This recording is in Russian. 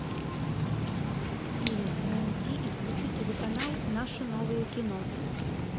сири найди и включи телеканал наше новое кино